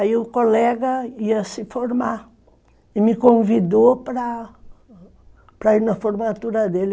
Aí o colega ia se formar e me convidou para para ir na formatura dele.